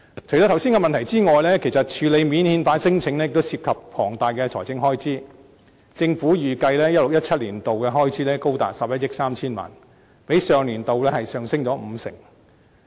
除了剛才的問題之外，處理免遣返聲請亦涉及龐大財政開支，政府預計 2016-2017 年度的開支高達11億 3,000 萬元，較上年度上升五成。